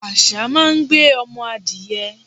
àṣá máa ń gbé ọmọ adiẹ